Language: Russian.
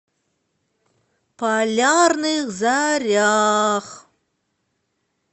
полярных зорях